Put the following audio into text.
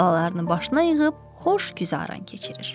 Balalarını başına yığıb xoş güzəran keçirir.